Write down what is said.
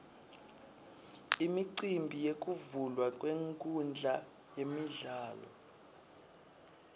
imicimbi yekuvulwa kwenkhundla yemidlalo